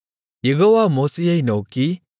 யெகோவா மோசேயை நோக்கி